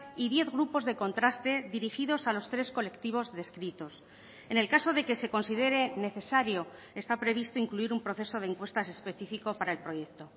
y diez grupos de contraste dirigidos a los tres colectivos descritos en el caso de que se considere necesario está previsto incluir un proceso de encuestas específico para el proyecto